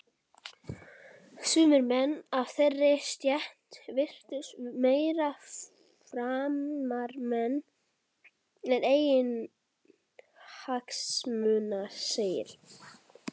Sumir menn af þeirri stétt virtust meiri framfaramenn en eiginhagsmunaseggir.